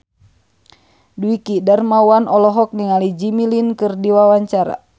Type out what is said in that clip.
Dwiki Darmawan olohok ningali Jimmy Lin keur diwawancara